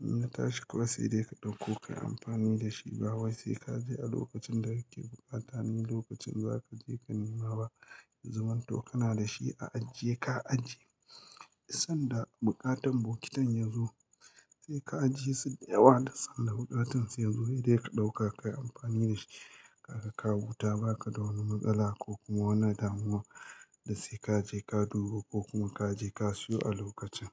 in ya tashi ko sai dai ka ɗauko ka yi amfani da shi. Ba wai sai ka je a lokacin da kake buƙata ne lokacin za ka je ka nema ba. Ya zaman to kana da shi a ajiye ka ajiye. Sanda buƙatan bokitin ya zo sai ka ajiye su da yawa da sanda buƙatan su ya zo dai ka ɗauka ka yi amfani da shi. Kaka ka huta ba ka da wani matsala ko kuma wani damuwa da sai ka je ka duba ko kuma ka je ka siyo a lokacin.